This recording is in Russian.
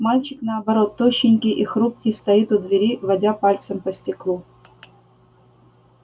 мальчик наоборот тощенький и хрупкий стоит у двери водя пальцем по стеклу